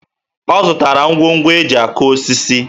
Ọ zụtara ngwongwo e ji akụ osisi